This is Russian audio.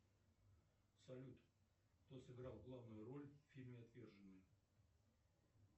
салют кто сыграл главную роль в фильме отверженные